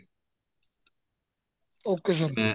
okay sir